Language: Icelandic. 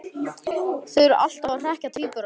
Þau eru alltaf að hrekkja tvíburana.